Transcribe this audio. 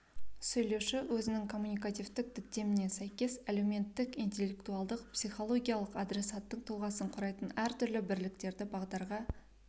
сөйлеуші өзінің коммуникативтік діттеміне сәйкес әлеуметтік ін интеллектуалдық ін психологиялық адресаттың тұлғасын құрайтын әртүрлі бірліктерді бағдарға